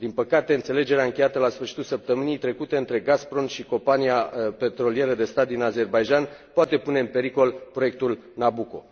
Din păcate, înțelegerea încheiată la sfârșitul săptămânii trecute între Gazprom și Compania Petrolieră de Stat din Azerbaidjan poate pune în pericol proiectul Nabuco.